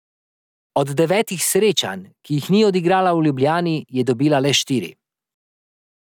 Od devetih srečanj, ki jih ni odigrala v Ljubljani, je dobila le štiri.